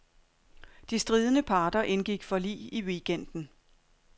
De stridende parter indgik forlig i weekenden.